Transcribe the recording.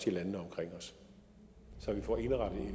i landene omkring os så vi får indrettet